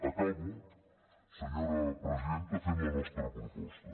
acabo senyora presidenta fent la nostra proposta